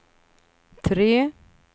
tre